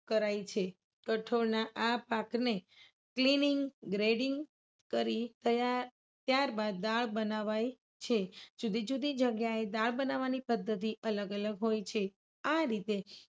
કરાય છે. કઠોળના પાકને આ પાકને cleaning grading કરી તૈયાર ત્યારબાદ દાળ બનાવાય છે. જુદી જુદી જગ્યાએ દાળ બનાવવાની પદ્ધતિ અલગ અલગ હોય છે. આ રીતે